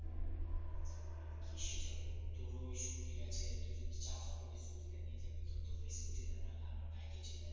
কিসে যাবো তোর ও scooter আছে তুই যদি চাস তো scooter টা নিয়ে যাবি তা তোর ওই scooter তে নাহলে আমার bike এ চলে আসবি